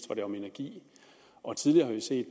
var det om energi og tidligere har vi set